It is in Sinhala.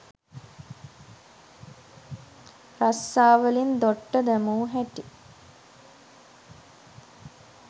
රස්සාවලින් දොට්ට දැමූ හැටි